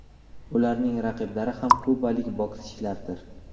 Ularning raqiblari ham kubalik bokschilardir.